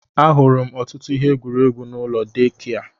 Ahụrụ m ọtụtụ ihe egwuregwu n'ụlọ deekia.